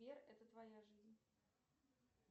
сбер это твоя жизнь